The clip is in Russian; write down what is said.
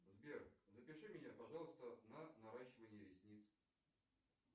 сбер запиши меня пожалуйста на наращивание ресниц